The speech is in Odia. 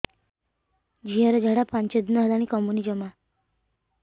ଝିଅର ଝାଡା ପାଞ୍ଚ ଦିନ ହେଲାଣି କମୁନି ଜମା